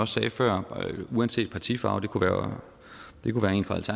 sagde før uanset partifarve det kunne være